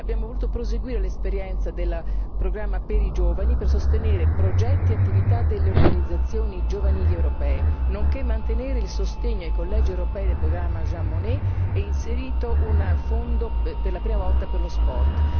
abbiamo voluto proseguire l'esperienza del programma per i giovani per sostenere progetti e attività delle organizzazioni giovanili europee, nonché mantenere il sostegno ai collegi europei del programma Jean Monnet e abbiamo inserito, per la prima volta, un fondo per lo sport.